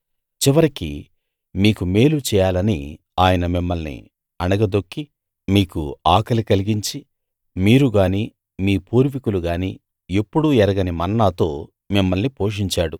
చివరికి మీకు మేలు చేయాలని ఆయన మిమ్మల్ని అణగదొక్కి మీకు ఆకలి కలిగించి మీరు గాని మీ పూర్వీకులు గాని ఎప్పుడూ ఎరగని మన్నాతో మిమ్మల్ని పోషించాడు